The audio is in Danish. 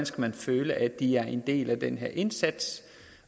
skal føle at de er en del af den her indsats